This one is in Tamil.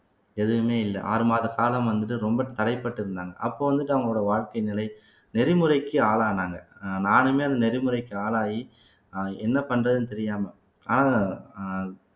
எதுவுமே இல்ல ஆறு மாத காலம் வந்துட்டு ரொம்ப தடைபட்டு இருந்தாங்க அப்போ வந்துட்டு அவங்களோட வாழ்க்கை நிலை நெறிமுறைக்கு ஆளானாங்க அஹ் நானுமே அந்த நெறிமுறைக்கு ஆளாகி அஹ் என்ன பண்றதுன்னு தெரியாம ஆனா அஹ்